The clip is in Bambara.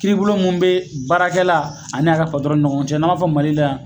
Kiiribulon mun be baarakɛla ani a ka ni ɲɔgɔn cɛ n'a fɔ Mali la yan